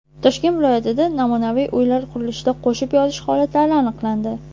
Toshkent viloyatida namunaviy uylar qurilishida qo‘shib yozish holatlari aniqlandi.